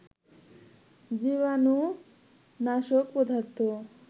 জীবানু নাশক পদার্থ